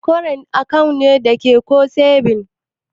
Kwarant akawu ne dake ko sebins?